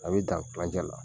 An be dan kilancɛ la.